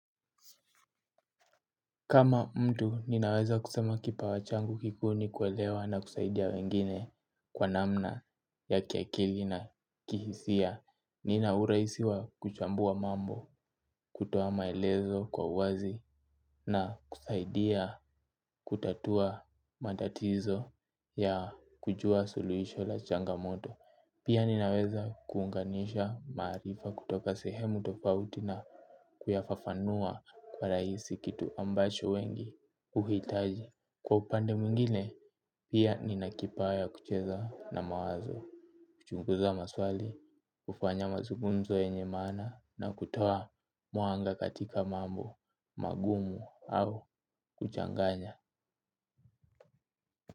Kama mtu ninaweza kusema kipawa changu kikuu ni kuelewa na kusaidia wengine kwa namna ya kiakili na kihisia, nina urahisi wa kuchambua mambo, kutoa maelezo kwa wazi na kusaidia kutatua matatizo ya kujua suluhisho la changamoto. Pia ninaweza kuunganisha maarifa kutoka sehemu tofauti na kuyafafanua kwa urahisi kitu ambacho wengi huhitaji. Kwa upande mwingine, pia nina kipawa ya kucheza na mawazo. Kuchunguza maswali, kufanya mazungumzo yenye maana na kutoa mwanga katika mambo magumu au kuchanganya.